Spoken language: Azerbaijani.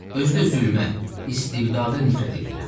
Özü də zülmə, istibdada nifrət eləyirəm.